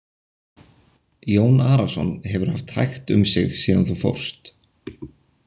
Jón Arason hefur haft hægt um sig síðan þú fórst.